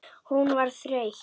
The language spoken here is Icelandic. Hún var þreytt.